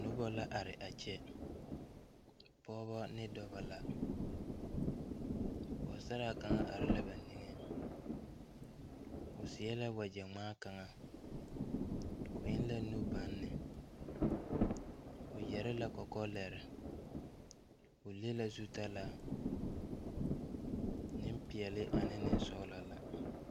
Nobɔ la are a kyɛ pɔɔbɔ ne dɔbɔ la pɔɔsaraa kaŋa are la ba neŋeŋ o seɛ la wagyɛ ngmaa kaŋa o eŋ la nubanne o yɛre la kɔkɔ lɛre o le la zutalaa Neŋpeɛɛle ane neŋsɔglɔ la.